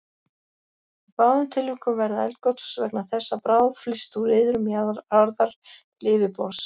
Í báðum tilvikum verða eldgos vegna þess að bráð flyst úr iðrum jarðar til yfirborðs.